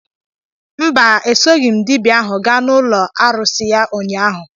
Mba, esoghị m dibia ahu gaa n'ụlọ arụsị ya ụnyahụ